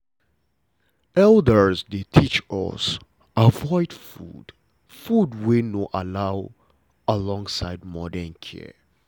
elders dey teach us avoid food food wey no allow alongside modern care